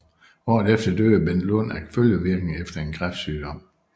Året efter døde Bent Lund af følgevirkninger efter en kræftsygdom